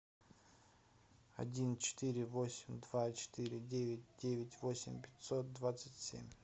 один четыре восемь два четыре девять девять восемь пятьсот двадцать семь